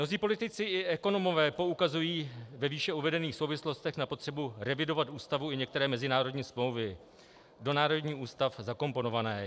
Mnozí politici i ekonomové poukazují ve výše uvedených souvislostech na potřebu revidovat ústavu i některé mezinárodní smlouvy do národních ústav zakomponované.